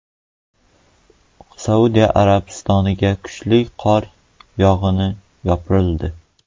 Saudiya Arabistoniga kuchli qor yog‘ini yopirildi .